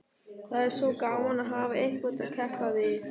Það er svo gaman að hafa einhvern að keppa við.